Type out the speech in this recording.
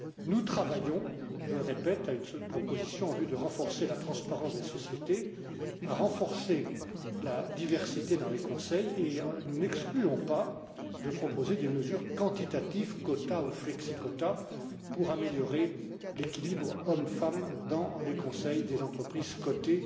Nous travaillons je le répète à une proposition en vue de renforcer la transparence des sociétés, de renforcer la diversité dans les conseils et nous n'excluons pas de proposer des mesures quantitatives pour améliorer l'équilibre homme femmes dans les conseils des entreprises cotées,